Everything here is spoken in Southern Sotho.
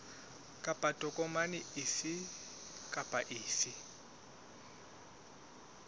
kapa tokomane efe kapa efe